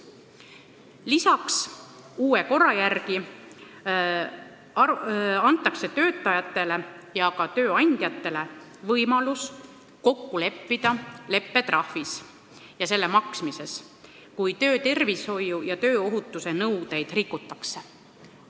Lisaks antakse uue korra järgi töötajatele ja ka tööandjatele võimalus kokku leppida leppetrahvis ja selle maksmises, kui töötervishoiu- ja tööohutuse nõudeid rikutakse.